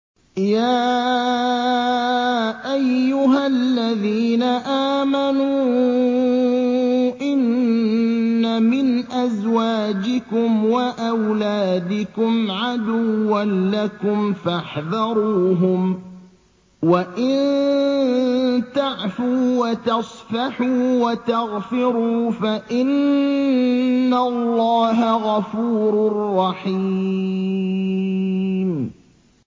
يَا أَيُّهَا الَّذِينَ آمَنُوا إِنَّ مِنْ أَزْوَاجِكُمْ وَأَوْلَادِكُمْ عَدُوًّا لَّكُمْ فَاحْذَرُوهُمْ ۚ وَإِن تَعْفُوا وَتَصْفَحُوا وَتَغْفِرُوا فَإِنَّ اللَّهَ غَفُورٌ رَّحِيمٌ